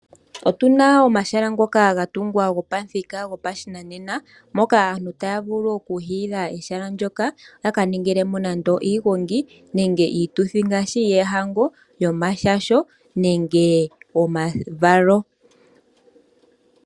Otu na omahala ngoka ga tungwa gopamuthika gwopashinanena moka aantu taya vulu okuhiila ehala ndyoka yaka ningilemo nenge iigongi nenge iituthi ngaashi yoohango, yomashasho nenge omavalo.